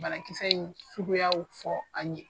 Banakisɛ in suguyaw fɔ an ye.